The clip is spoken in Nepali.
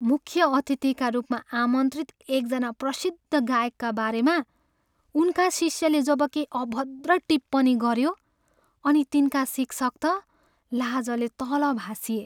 मुख्य अतिथिका रूपमा आमन्त्रित एकजना प्रसिद्ध गायकका बारेमा उनका शिष्यले जब केही अभद्र टिप्पणी गऱ्यो अनि तिनका शिक्षक त लाजले तल भासिए।